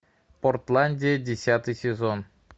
портландия десятый сезон